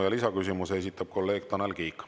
Ja lisaküsimuse esitab kolleeg Tanel Kiik.